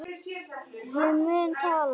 Ég mun tala.